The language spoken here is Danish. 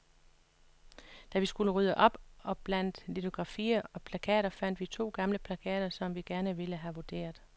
Da vi skulle rydde op blandt litografier og plakater, fandt vi to gamle plakater, som vi gerne vil have vurderet.